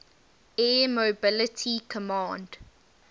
air mobility command